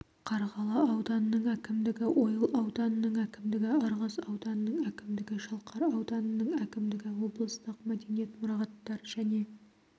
қарғалы ауданының әкімдігі ойыл ауданының әкімдігі ырғыз ауданының әкімдігі шалқар ауданының әкімдігі облыстық мәдениет мұрағаттар және